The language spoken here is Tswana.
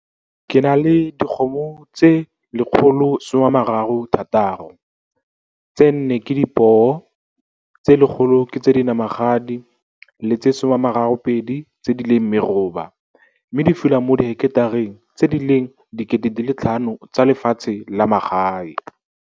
Ke na le dikgomo tse 136 - tse nne ke dipoo, tse 100 ke tse dinamagadi le tse 32 tse di leng meroba mme di fula mo diheketareng tse di leng 5 000 tsa lefatshe la magae.